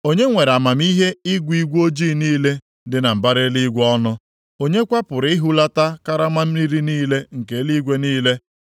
Onye nwere amamihe ịgụ igwe ojii niile dị na mbara eluigwe ọnụ? Onye kwa pụrụ ịhulata karama mmiri niile nke eluigwe niile,